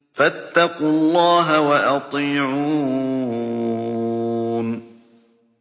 فَاتَّقُوا اللَّهَ وَأَطِيعُونِ